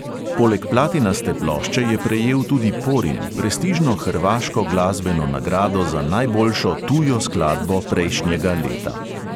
Poleg platinaste plošče je prejel tudi porin, prestižno hrvaško glasbeno nagrado za najboljšo tujo skladbo prejšnjega leta.